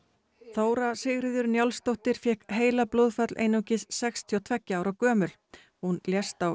Þóra Sigríður Njálsdóttir fékk heilablóðfall einungis sextíu og tveggja ára gömul hún lést á